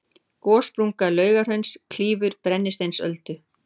gossprunga laugahrauns klýfur brennisteinsöldu